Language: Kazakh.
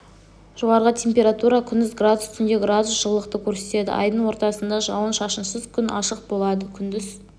жоғарғы температура күндіз градус түнде градус жылылықты көрсетеді айдың ортасында жауын-шашынсыз күн ашық болады күндіз